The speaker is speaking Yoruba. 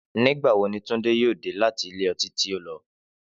Nígbà wo ni Túndé yóò dé láti ilé ọtí tí ó lọ?